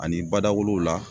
Ani badawolow la